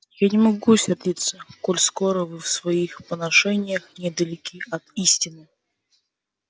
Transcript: я не могу сердиться коль скоро вы в своих поношениях недалеки от истины